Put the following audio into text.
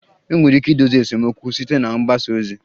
Enwere ike idozi esemokwu site na mgbasa ozi